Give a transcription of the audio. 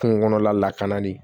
Kungo kɔnɔla lakana ni